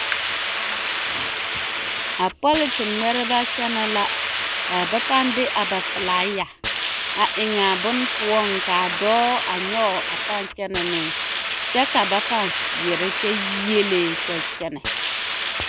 A pɔlete ŋmɛreba kyɛnɛ la a ba pãã de a ba filaaya a eŋaa bone poɔŋ k'a dɔɔ a nyɔge a pãã kyɛnɛ ne kyɛ ka ba pãã seɛrɛ kyɛ yiele kyɛ kyɛnɛ.